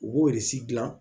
U b'o de si dilan